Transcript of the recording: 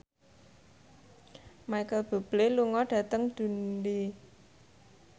Micheal Bubble lunga dhateng Dundee